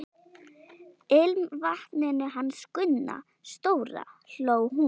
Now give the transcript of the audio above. Ilmvatninu hans Gunna stóra! hló hún.